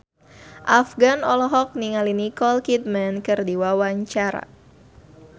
Afgan olohok ningali Nicole Kidman keur diwawancara